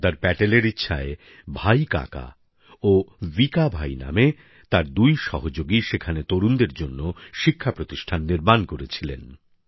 সর্দার প্যাটেলের ইচ্ছায় ভাই কাকা ও ভিকা ভাই নামে তার দুই সহযোগী সেখানে তরুণদের জন্য শিক্ষা প্রতিষ্ঠান নির্মাণ করেছিলেন